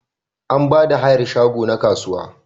Ana Bada hayar shago na kasuwa